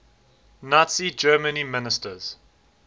nazi germany ministers